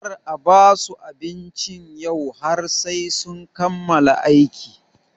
Kar a basu abinci yau har sai sun kammala aiki!